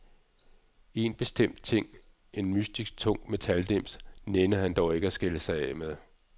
En bestemt ting, en mystisk tung metaldims, nænnede han dog ikke at skille sig af med.